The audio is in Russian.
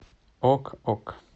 ок ок